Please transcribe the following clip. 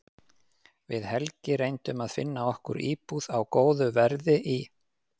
Við Helgi reyndum að finna okkur íbúð á góðu verði í